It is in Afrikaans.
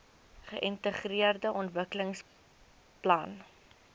geintegreerde ontwikkelingsplan idp